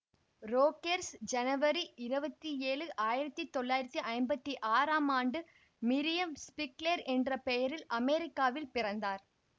Rogers ஜனவரி இருபத்தி ஏழு ஆயிரத்தி தொள்ளாயிரத்தி ஐம்பத்தி ஆறாம் ஆண்டு மிரியம் ச்பிக்லேர் என்ற பெயரில் அமெரிக்காவில் பிறந்தார்